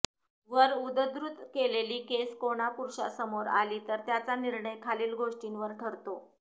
वर उद्द्ध्रुत केलेली केस कोणा पुरुषासमोर आली तर त्याचा निर्णय खालील गोष्टीवर ठरतो